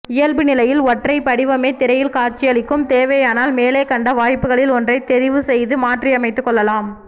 இயல்பு நிலையில் ஒற்றை படிவமே திரையில் காட்சியளிக்கும் தேவையானால் மேலே கண்ட வாய்ப்புகளில் ஒன்றை தெரிவுசெய்து மாற்றியமைத்து கொள்ளலாம்